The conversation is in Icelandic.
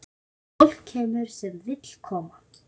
Fólk kemur sem vill koma.